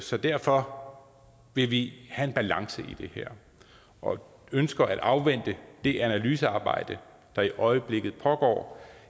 så derfor vil vi have en balance i det her og ønsker at afvente det analysearbejde der i øjeblikket pågår